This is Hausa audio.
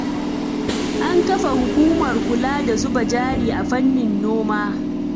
An kafa hukumar kula da zuba jari a fannin noma.